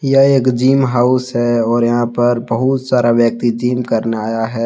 यह एक gym house है और यहां पर बहुत सारा व्यक्ति जिम करने आया है।